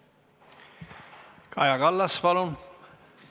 Kaja Kallas, palun!